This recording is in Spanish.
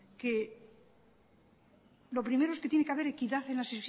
que lo primero es que tiene que haber equidad en las